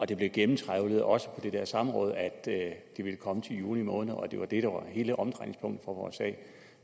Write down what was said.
det blev gennemtrawlet også på det der samråd at det ville komme til juni måned og at det var det der var hele omdrejningspunktet for vores sag